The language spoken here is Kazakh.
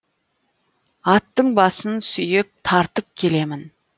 аттың басын сүйеп тартып келемін